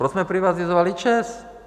Proč jsme privatizovali ČEZ?